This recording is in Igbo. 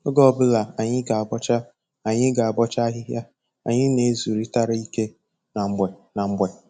Oge ọbụla anyị ga-abọcha anyị ga-abọcha ahịhịa, anyị na-ezurịtara ike na mgbe na mgbe